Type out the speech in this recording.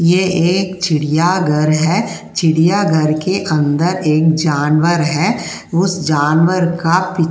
यह एक चिड़ियाघर है। चिड़ियाघर के अंदर एक जानवर है उसे जानवर का। --